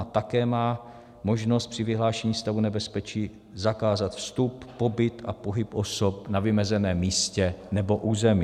"A také má možnost při vyhlášení stavu nebezpečí zakázat vstup, pobyt a pohyb osob na vymezeném místě nebo území."